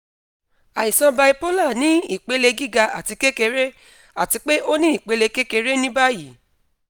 aisan bipolar ni ipele giga ati kekere ati pe o ni ipele kekere ni bayi